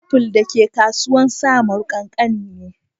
Aful da ke kasuwan samaru kankani ne.